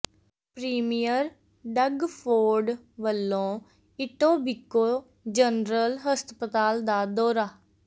premier Doug Ford ਵੱਲੋਂ Etobicoke general ਹਸਪਤਾਲ ਦਾ ਦੌਰਾ